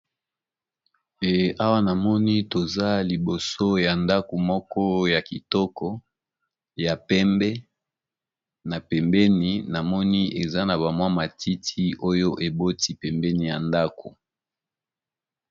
awa namoni toza liboso ya ndako moko ya kitoko ya pembe na pembeni namoni eza na bamwa matiti oyo eboti pembeni ya ndako